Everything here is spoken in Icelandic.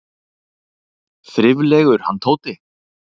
Þriflegur, hann Tóti!